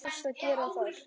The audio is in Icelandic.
Hvað varstu að gera þar?